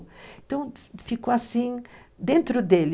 Então, ficou assim dentro dele,